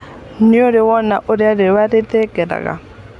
Nĩũrĩ wona ũrĩa riũa rĩthereraga?